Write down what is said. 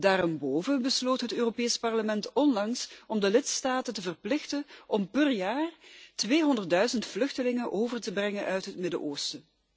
Daarenboven besloot het Europees Parlement onlangs om de lidstaten te verplichten om per jaar tweehonderdduizend vluchtelingen over te brengen uit het Midden Oosten.